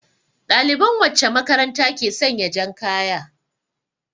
Ɗaliban wacce makaranta ke sanya jan kaya?